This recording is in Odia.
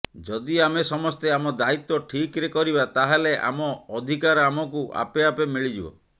ଯଦି ଆମେ ସମସ୍ତେ ଆମ ଦାୟିତ୍ୱ ଠିକରେ କରିବା ତାହାହେଲେ ଆମ ଅଧିକାର ଆମକୁ ଆପେଆପେ ମିଳିଯିବ